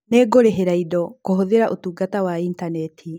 Nĩngũrĩhĩra indo kũhũthĩra ũtungata wa intaneti.